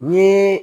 Ni